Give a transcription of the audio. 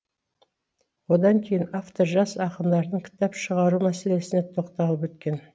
одан кейін автор жас ақындардың кітап шығару мәселесіне тоқталып өткен